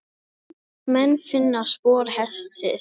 Þóttust menn finna spor hestsins.